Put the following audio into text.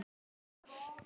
Veldu það.